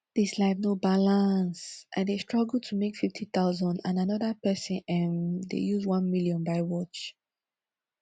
dis life no balance i dey struggle to make fifty thousand and another person um dey use one million buy watch